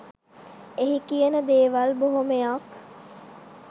එහි කියන දේවල් බොහොමයක්